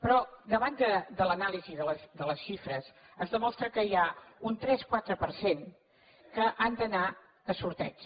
però davant de l’anàlisi de les xifres es demostra que hi ha un tres quatre per cent que han d’anar a sorteig